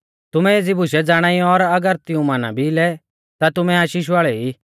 तुमै एज़ी बुशै ज़ाणाई और अगर तिऊं माना भी लै ता तुमै आशीष वाल़ै ई